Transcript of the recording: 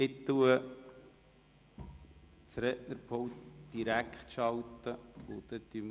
Ich schalte das Mikrofon des Rednerpults direkt ein, und dann schauen wir, ob es funktioniert.